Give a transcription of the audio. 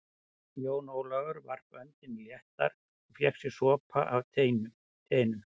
Jón Ólafur varp öndinni léttar og fékk sér sopa af teinu.